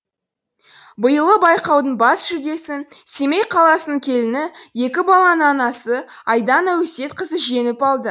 биылғы байқаудың бас жүлдесін семей қаласының келіні екі баланың анасы айдана өсетқызы жеңіп алды